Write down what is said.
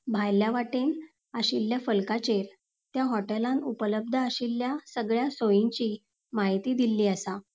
भायल्या वाटेन आशिल्ल्या फलकाचेर त्या हॉटेलान उपलब्द आशिल्ल्या सगळ्या सोयींची माहिती दिल्ली आसा.